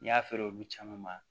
N'i y'a feere olu caman ma